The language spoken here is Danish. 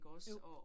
Jo